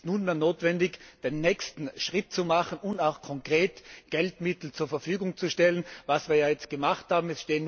Es ist nunmehr notwendig, den nächsten Schritt zu machen und auch konkret Geldmittel zur Verfügung zu stellen, was wir ja jetzt gemacht haben.